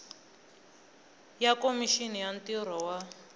ya khomixini ya ntirho wa